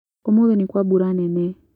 ũmũthĩ nĩkwa mbura nene